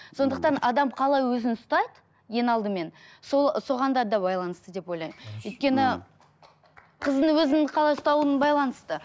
сондықтан адам қалай өзін ұстайды ең алдымен сол соған да байланысты деп ойламын өйткені қыздың өзін ұстауына байланысты